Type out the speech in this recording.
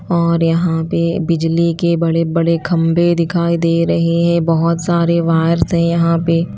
और यहां पे बिजली के बड़े बड़े खंभे दिखाई दे रहे हैं बहुत सारे वायर्स हैं यहां पे।